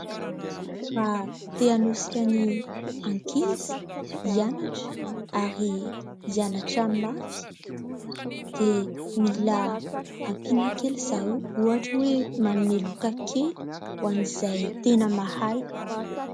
Raha te hanosika ny ankizy hianatra, ary hianatra mafy, dia mila ampiana kely zareo. Ohatra hoe : "Manome loka kely hoan'izay tena mahay".